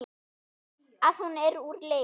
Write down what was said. Að hún er úr leik.